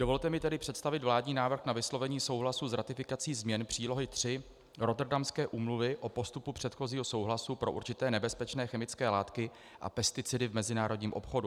Dovolte mi tedy představit vládní návrh na vyslovení souhlasu s ratifikací změn přílohy III Rotterdamské úmluvy o postupu předchozího souhlasu pro určité nebezpečné chemické látky a pesticidy v mezinárodním obchodu.